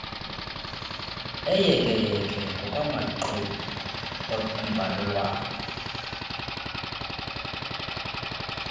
eyekeyeke ngokwamaxwebhu embalelwano